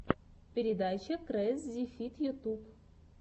передача крэззифид ютюб